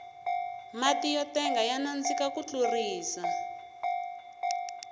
matiyo tenga ya nandika ku tlurisa